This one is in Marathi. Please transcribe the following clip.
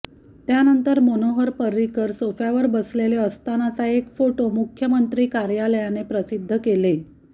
त्यानंतर मनोहर पर्रिकर सोफ्यावर बसलेले असतानाचा एक फोटो मुख्यमंत्री कार्यालयाने प्रसिद्ध केले